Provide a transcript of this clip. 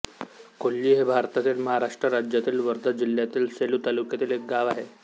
कोल्ही हे भारतातील महाराष्ट्र राज्यातील वर्धा जिल्ह्यातील सेलू तालुक्यातील एक गाव आहे